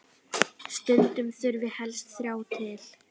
Stundum þurfi helst þrjá til.